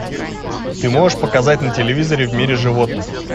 ты можешь показать на телевизоре в мире животных